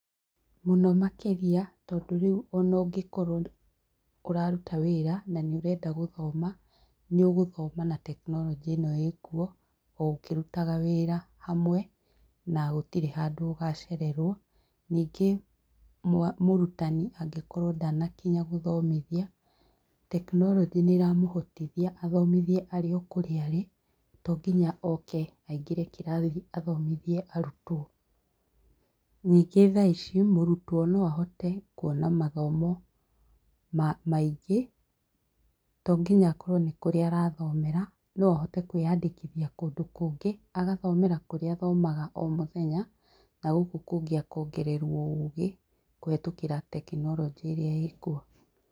Mũno makĩrĩa tondũ rĩu ona ũngĩkorwo ũraruta wĩra na nĩ ũrenda gũthoma, nĩ ũgũthoma na tekinoronjĩ ĩno ĩrĩkuo o ũkĩrutaga wĩra hamwe na gũtirĩ handũ ũgacererwo. Ningĩ mũrutani angĩkorwo ndanakinya gũthomithia, tekinoronjĩ nĩ ĩramũhotithia athomithie arĩ o kũrĩa arĩ to nginya oke aingĩre kĩrathi athomithie arutwo. Ningĩ thaa ici mũrutwo no ahote kuona mathomo maingĩ to nginya akorwo nĩ kũrĩa arathomera no ahote kwĩyandĩkithia kũndũ kũngĩ agathomera kũrĩa athomaga o mũthenya na gũkũ kũngĩ akongererwo ũgĩ kũhĩtũkĩra tekinoronjĩ ĩrĩa ĩĩ kuo.